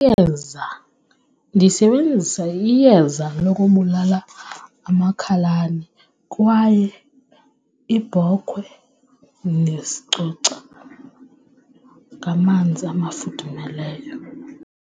Iyeza, ndisebenzisa iyeza lokubulala amakhalane kwaye iibhokhwe ndizicoca ngamanzi amafudumeleyo.